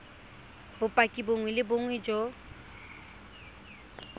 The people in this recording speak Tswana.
bopaki bongwe le bongwe jo